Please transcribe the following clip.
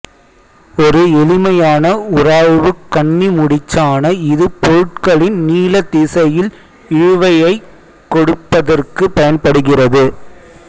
ஒரு எளிமையான உராய்வுக் கண்ணிமுடிச்சான இது பொருட்களின் நீளத் திசையில் இழுவையைக் கொடுப்பதற்குப் பயன்படுகிறது